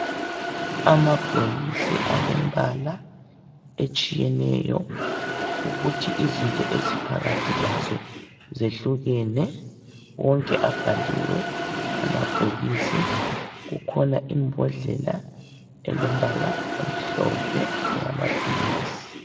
Amabhokisi alembala etshiyeneyo ukuthi izinto eziphakathi lazo zehlukene. Wonke abhaliwe amabhokisi kukhona imbodlela elombala omhlophe eyamaphilisi.